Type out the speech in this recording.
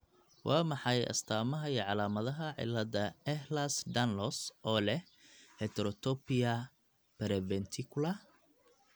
Waa maxay astamaha iyo calaamadaha cilada Ehlers Danlos ee leh heterotopia periventricular?